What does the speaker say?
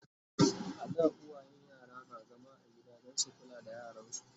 a da uwayen yara na zama a gida Dan su kula da yaransu